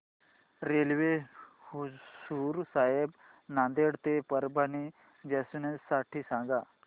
railway Hazur Sahib Nanded ते Parbhani junction साठी सांगा